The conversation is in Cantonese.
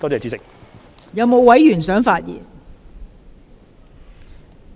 是否有委員想發言？